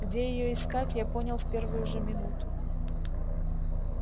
где её искать я понял в первую же минуту